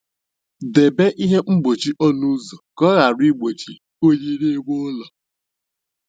Debe ihe mgbochi ọnụ ụzọ ka ọ ghara igbochi unyi n'ime ụlọ.